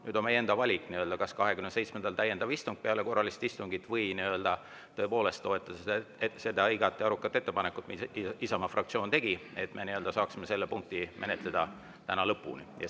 Nüüd on meie enda valik, kas 27‑ndal täiendav istung peale korralist istungit või te tõepoolest toetate seda igati arukat ettepanekut, mille Isamaa fraktsioon tegi, et me saaksime selle punkti täna lõpuni menetleda.